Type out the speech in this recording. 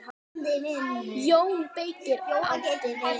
JÓN BEYKIR: Áttu við.